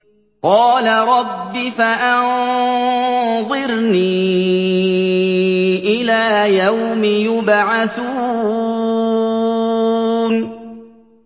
قَالَ رَبِّ فَأَنظِرْنِي إِلَىٰ يَوْمِ يُبْعَثُونَ